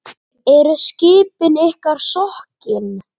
Eru skipin ykkar sokkin?